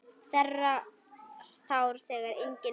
Þerrar tár þegar engin eru.